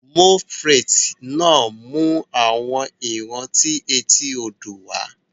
Moules frites náà mú àwọn ìrántí etí odò wá